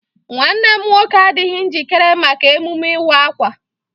Nwanne m nwoke adịghị njikere maka emume ịwa akwa.